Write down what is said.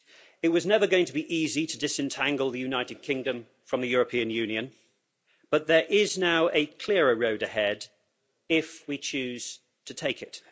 It was never going to be easy to disentangle the United Kingdom from the European Union but there is now a clearer road ahead, if we choose to take it.